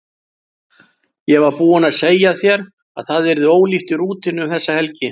Ég var búin að segja þér að það yrði ólíft í rútunni um þessa helgi.